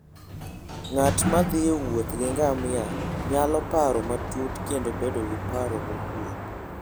Ng'at ma thi e wuoth gi ngamia nyalo paro matut kendo bedo gi paro mokuwe.